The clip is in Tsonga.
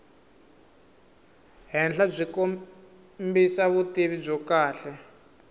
henhlabyi kombisa vutivi byo kahle